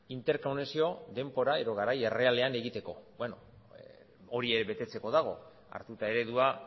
interkonexio denbora edo garai errealean egiteko hori ere betetzeko dago hartuta eredua